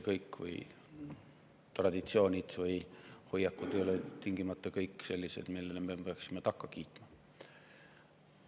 Kõik tavad, traditsioonid ja hoiakud ei ole tingimata sellised, millele me peaksime takka kiitma.